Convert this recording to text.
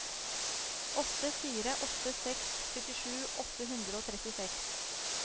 åtte fire åtte seks syttisju åtte hundre og trettiseks